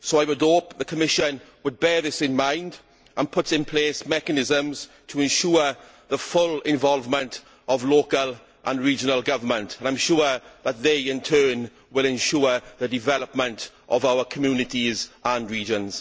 So I would hope the Commission would bear this in mind and put in place mechanisms to ensure the full involvement of local and regional government, and I am sure that they, in turn, will ensure the development of our communities and regions.